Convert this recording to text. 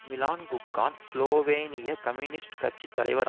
Milan Kucan ஸ்லோவேனிய communist கட்சி தலைவர்